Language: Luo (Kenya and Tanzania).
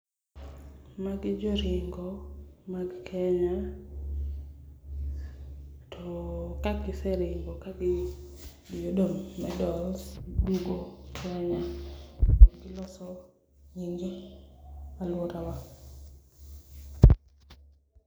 Magi joringo mag Kenya, to ka giseringo ka giyudo medals giduogo Kenya to giloso alworawa.